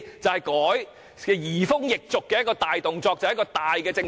這才是移風易俗的大舉措，重大的政策改變。